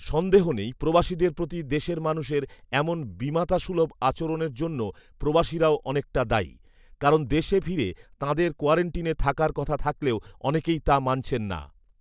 সন্দেহ নেই, প্রবাসীদের প্রতি দেশের মানুষের এমন বিমাতাসুলভ আচরণের জন্য প্রবাসীরাও অনেকটা দায়ী৷ কারণ দেশে ফিরে তাঁদের কোয়ারান্টিনে থাকার কথা থাকলেও অনেকেই তা মানছেন না৷